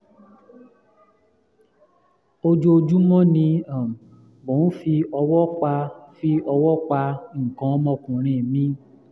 ojoojúmọ́ ni um mo ń fi ọwọ́ pa fi ọwọ́ pa nǹkan ọmọkùnrin mi